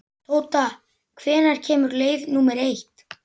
Tóta, hvenær kemur leið númer eitt?